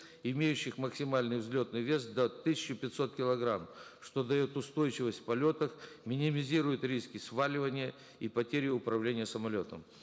имеющих максимальный взлетный вес до тысячи пятисот килограммов что дает устойчивость в полетах минимизирует риски сваливания и потери управления самолетом